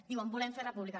diuen volem fer república